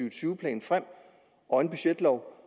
og tyve plan og en budgetlov